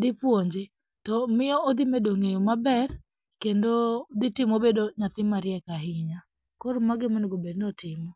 dhipuonje, to miyo odhimedo ng'eyo maber kendo dhitimo obedo nyathi mariek ahinya, koro mago omenegobedni otimo.